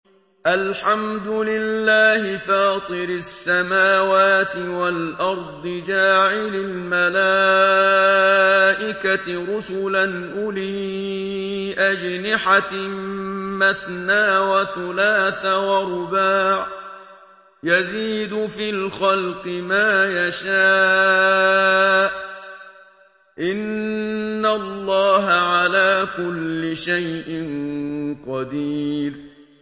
الْحَمْدُ لِلَّهِ فَاطِرِ السَّمَاوَاتِ وَالْأَرْضِ جَاعِلِ الْمَلَائِكَةِ رُسُلًا أُولِي أَجْنِحَةٍ مَّثْنَىٰ وَثُلَاثَ وَرُبَاعَ ۚ يَزِيدُ فِي الْخَلْقِ مَا يَشَاءُ ۚ إِنَّ اللَّهَ عَلَىٰ كُلِّ شَيْءٍ قَدِيرٌ